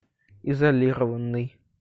изолированный